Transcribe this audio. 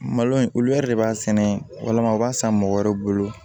Malo in olu yɛrɛ de b'a sɛnɛ walima u b'a san mɔgɔ wɛrɛw bolo